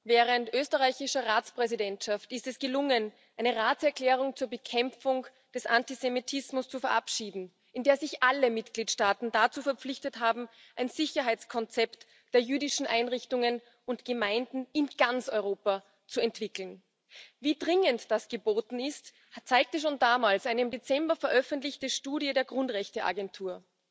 Während der österreichischen Ratspräsidentschaft ist es gelungen, eine Erklärung des Rates zur Bekämpfung des Antisemitismus zu verabschieden, in der sich alle Mitgliedstaaten dazu verpflichtet haben, ein Sicherheitskonzept für die jüdischen Einrichtungen und Gemeinden in ganz Europa zu entwickeln. Wie dringend das geboten ist, zeigte schon damals eine im Dezember veröffentlichte Studie der Grundrechteagentur.